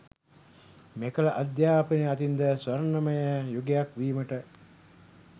මෙකල අධ්‍යාපනය අතින්ද ස්වර්ණමය යුගයක් වීමට